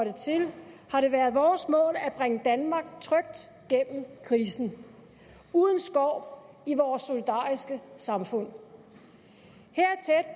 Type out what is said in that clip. fra det været vores mål at bringe danmark trygt gennem krisen uden skår i vores solidariske samfund